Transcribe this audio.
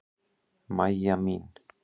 Mæja mín.